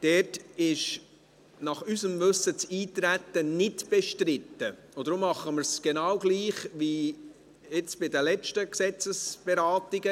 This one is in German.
Dort ist unseres Wissens das Eintreten nicht bestritten, und deshalb machen wir es genau gleich wie bei den letzten Gesetzesberatungen.